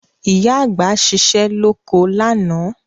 Ìyá àgbà ṣiṣẹ́ lóko lánàá